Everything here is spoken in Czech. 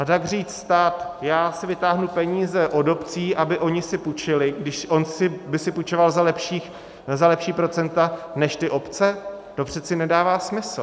A tak říct, stát, já si vytáhnu peníze od obcí, aby si ony půjčily, když on by si půjčoval za lepší procenta než ty obce, to přece nedává smysl.